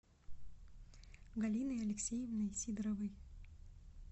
галиной алексеевной сидоровой